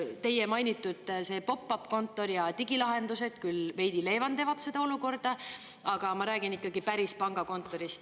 Teie mainitud pop-up kontor ja digilahendused küll veidi leevendavad seda olukorda, aga ma räägin ikkagi päris pangakontorist.